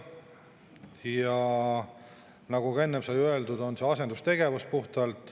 Ja nagu juba enne sai öeldud, see on puhtalt asendustegevus.